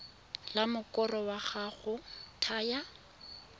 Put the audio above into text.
la mokoro wa go thaya